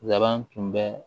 Laban tun bɛ